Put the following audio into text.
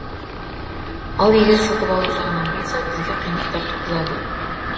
ал егер сатып алу жағынан болса бізге қиындықтар туғызады